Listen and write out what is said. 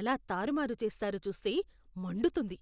ఎలా తారుమారు చేస్తారో చూస్తే మండుతుంది.